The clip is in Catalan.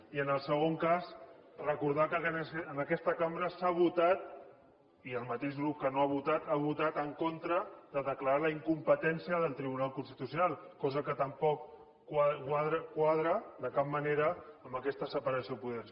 i en el segon cas recordar que en aquesta cambra s’ha votat i el mateix grup que no ha votat ha votat en contra de declarar la incompetència del tribunal constitucional cosa que tampoc quadra de cap manera amb aquesta separació de poders